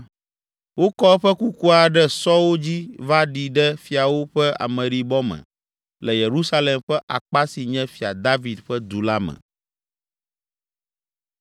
Wokɔ eƒe kukua ɖe sɔwo dzi va ɖi ɖe fiawo ƒe ameɖibɔ me le Yerusalem ƒe akpa si nye Fia David ƒe du la me.